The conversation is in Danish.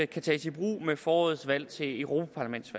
kan tages i brug ved forårets valg til europa parlamentet